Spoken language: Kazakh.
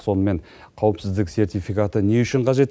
сонымен қауіпсіздік сертификаты не үшін қажет